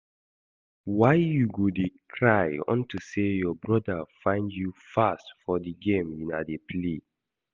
Why you go dey cry unto say your broda find you fast for the game una dey play